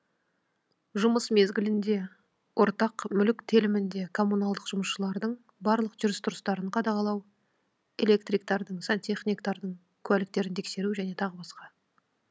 жұмыс мезгілінде ортақ мүлік телімінде коммуналдық жұмысшылардың барлық жүріс тұрыстарын қадағалау электриктардың сантехникатардың куәліктерін тексеру және тағы басқа